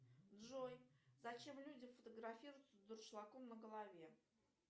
джой зачем люди фотографируются с дуршлагом на голове